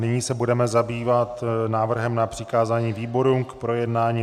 Nyní se budeme zabývat návrhem na přikázání výborům k projednání.